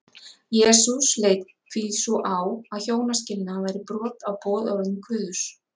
jesús leit því svo á að hjónaskilnaður væri brot á boðorðum guðs